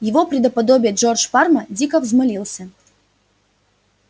его предоподобие джордж парма дико взмолился